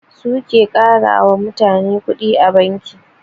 Su ke ƙarama mutane kuɗi a banki